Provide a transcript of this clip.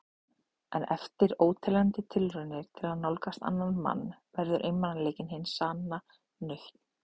En eftir óteljandi tilraunir til að nálgast annan mann verður einmanaleikinn hin sanna nautn.